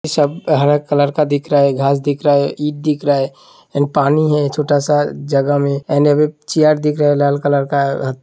सब हरा कलर का दिख रहा है। घास दिख रहा है ईट दिख रहा है एंड पानी है छोटा सा जगह में एंड चेयर दिख रहा है लाल कलर का --